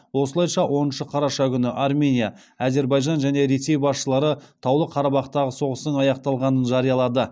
осылайша оныншы қараша күні армения әзербайжан және ресей басшылары таулы қарабақтағы соғыстың аяқталғанын жариялады